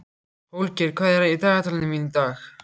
Holgeir, hvað er í dagatalinu mínu í dag?